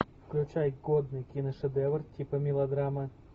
включай годный киношедевр типа мелодрамы